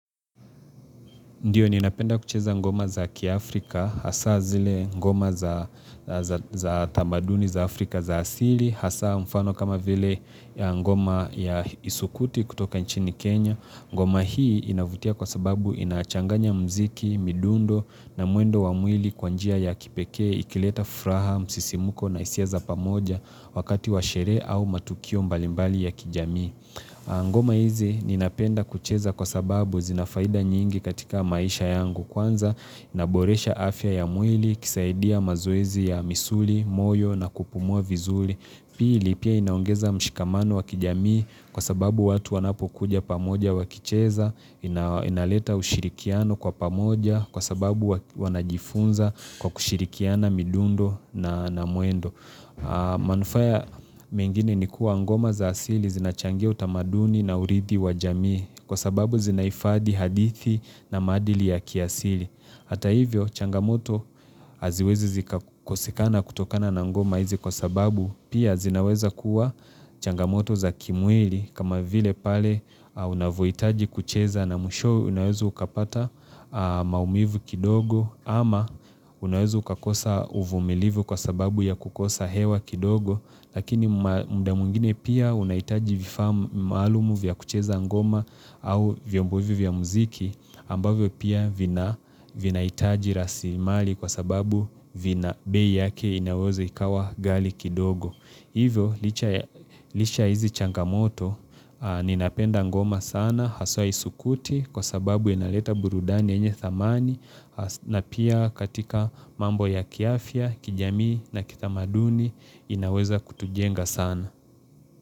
Ndiyo, ninapenda kucheza ngoma za kiafrika, hasaa zile ngoma za tamaduni za afrika za asili, hasa mfano kama vile ngoma ya isukuti kutoka nchini Kenya. Ngoma hii inavutia kwa sababu inachanganya mziki, midundo na mwendo wa mwili kwa njia ya kipekee, ikileta furaha, msisimuko na hisia za pamoja wakati wa sherehe au matukio mbalimbali ya kijamii. Ngoma hizi ninapenda kucheza kwa sababu zina faida nyingi katika maisha yangu Kwanza inaboresha afya ya mwili, ikisaidia mazoezi ya misuli, moyo na kupumua vizuri. Pili pia inaongeza mshikamano wa kijamii kwa sababu watu wanapokuja pamoja wakicheza inaleta ushirikiano kwa pamoja kwa sababu wanajifunza kwa kushirikiana midundo na mwendo Manufaya mengine ni kuwa ngoma za asili zinachangia utamaduni na uridhi wa jamii Kwa sababu zinahifadhi hadithi na maadili ya kiasili Hata hivyo changamoto haziwezi zikakosekana kutokana na ngoma hizi kwa sababu Pia zinaweza kuwa changamoto za kimwili kama vile pale unavyohitaji kucheza na mwishowe Unaweza ukapata maumivu kidogo ama unaweza ukakosa uvumilivu kwa sababu ya kukosa hewa kidogo, lakini mda mwingine pia unahitaji vifaa.maalumu vya kucheza ngoma au vyombo hivi vya mziki ambavyo pia vinahitaji rasimali kwa sababu vina bei yake inaweza ikawa ghali kidogo. Hivyo, licha hizi changamoto, ninapenda ngoma sana, haswa isukuti kwa sababu inaleta burudani yenye thamani na pia katika mambo ya kiafya, kijamii na kitamaduni inaweza kutujenga sana.